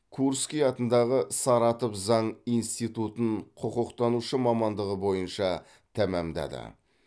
курский атындағы саратов заң институтын құқықтанушы мамандығы бойынша тәмамдады